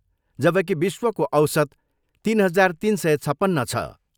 जबकि विश्वको औसत तिन हजार तिन सय छपन्न छ।